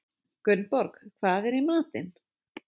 Gunnborg, hvað er í matinn?